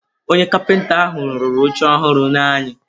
Onye kapịta ahụ rụrụ oche ọhụrụ nye anyị.